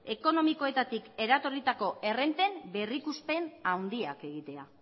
ekonomikoetatik eratorritako errenten berrikuspen handiak egitea